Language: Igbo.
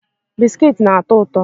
Biskiti na-atọ ụtọ